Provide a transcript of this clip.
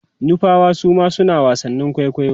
nupawa Suma suna wasannin kwaikwayo